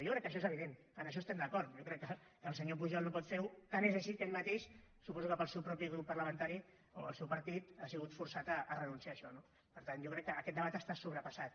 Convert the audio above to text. jo crec que això és evident en això estem d’acord jo crec que el senyor pujol no pot fer ho i tant és així que ell mateix suposo que pel seu propi grup parlamentari o el seu partit ha sigut forçat a renunciar a això no per tant jo crec que aquest debat està sobrepassat